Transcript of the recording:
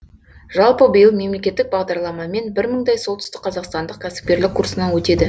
жалпы биыл мемлекеттік бағдарламамен бір мыңдай солтүстікқазақстандық кәсіпкерлік курсынан өтеді